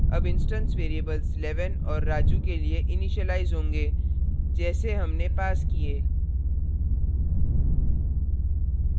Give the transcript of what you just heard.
अब instance variables 11 और raju के लिए इनिशीलाइज होंगे जैसे हमने passed किए